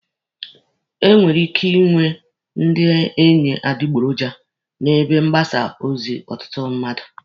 E nwere ike ịnwe ndị enyi adịgboroja n'ebe mgbasa ozi ọtụtụ mmadụ.